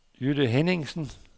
Jytte Henningsen